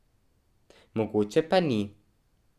Mogoče pa ni.